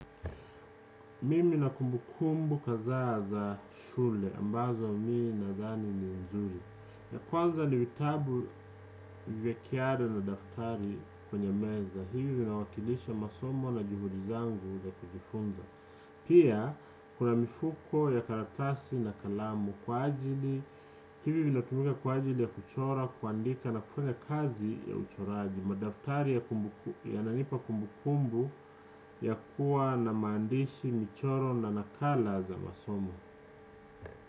Mimi nina kumbukumbu kadhaa za shule ambazo mimi nadhani ni nzuri ya kwanza ni vitabu vya kiale na daftari kwenye meza hivi vinawakilisha masomo na juhudi zangu za kujifunza pia kuna mifuko ya karatasi na kalamu kwa ajili, hili linatumika kwa ajili ya kuchora kuandika na kufanya kazi ya uchoraji, madaftari yananipa kumbukumbu ya kuwa na maandishi michoro na nakala za masomo.